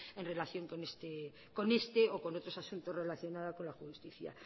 en relación con este o con otros asuntos relacionada con la justicia